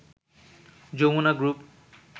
Jamuna group